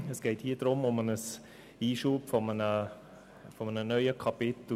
Es geht um den Einschub eines neuen Kapitels.